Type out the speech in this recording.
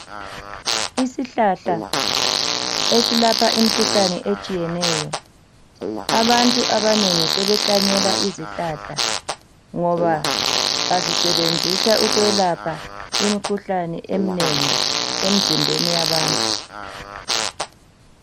isihlahla esilapha imikhuhlane etshiyeneyo abantu abanengi sebehlanyela izihlahla ngoba bazisebenzisa ukwelapha imikhuhlane emnengi emzimbeni yabantu